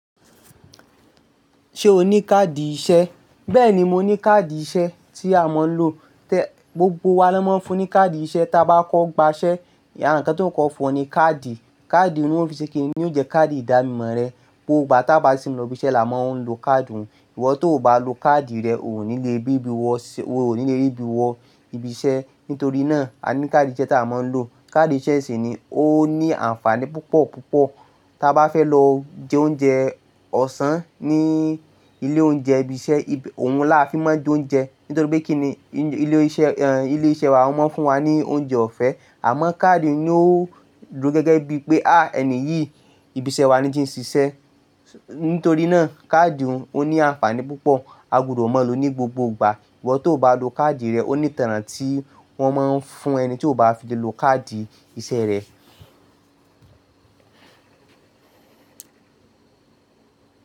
Ṣé o ní káàdì iṣẹ́? Bẹ́ẹ̀ni, mo ní káàdì iṣẹ́ tí a máa ń lò. Tẹ gbogbo wa ni wọ́n máa ń fún ní káàdì iṣẹ́ táa bá kọ́ gbaṣẹ́. Ara nǹkan t'ọ́n óó kọ́kọ́ fún ọ ní káàdì, Káàdì n ni wọn ó fi ṣe kíni, ni óò jẹ́ káàdì ìdánimọ̀ rẹ. Gbogbo ìgbà táá bá sì ń lọ'bi iṣẹ́ làá má ń lo káàdì un Ìwọ tó ò bá lo káàdì rẹ, o ò ní le bíbi wọ, o ò ní le ríbi wọ ibi iṣẹ́. Nítorí náà, a ní káàdì iṣẹ́ t'áwa máa ń lò. Káàdì iṣẹ́ sì ni ó ní àǹfààní púpọ̀ púpọ̀. Tá a bá fẹ́ lọ jẹ oúnjẹ ọ̀sán ní ilé oúnjẹ ibi iṣẹ́, òun láa fi máa ń jẹ oúnjẹ. Nítorí pé kíni ilé iṣẹ́, ilé iṣẹ́ wa wọ́n máa ń fún wa ní oúnjẹ ọ̀fẹ́. Àmọ́ káàdì ni ó ò dúró gẹ́gẹ́ bíi pé, ah ẹni yìí ibi iṣẹ́ wa ní tí ń ṣiṣẹ́. Nítorí náà, káàdì òun ó ní àǹfààní púpọ̀. A gbudọ̀ máa lòó ní gbogbo ìgbà. Ìwọ tó ò bá lo káàdì rẹ, ó ní'tanràn tí wọ́n máa ń fún ẹni tí ò bá fi le lo káàdì iṣẹ́ rẹ̀